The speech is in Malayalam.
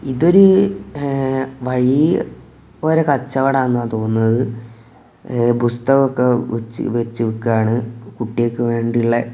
ഇതൊരു എഹ് വഴി ഓര കച്ചവടാന്നാ തോന്നുന്നത് എഹ് പുസ്തകം ഒക്കെ വച്ചു വെച്ചു വിക്കാണ് കുട്ടികൾക്ക് വേണ്ടിയുള്ളെ.